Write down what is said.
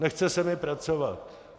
Nechce se mi pracovat.